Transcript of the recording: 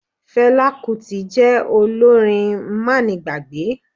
Fela Kuti jẹ́ olórin má ni gbàgbé.